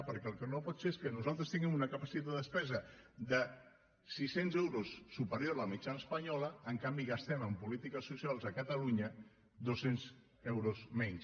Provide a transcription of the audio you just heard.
perquè el que no pot ser és que nosaltres tinguem una capacitat de despesa de sis cents euros més que la mitjana espanyola i en canvi gastem en polítiques socials a catalunya dos cents euros menys